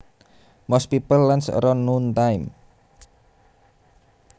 Most people lunch around noon time